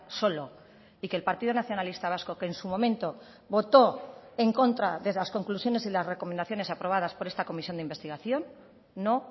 solo y que el partido nacionalista vasco que en su momento votó en contra de las conclusiones y las recomendaciones aprobadas por esta comisión de investigación no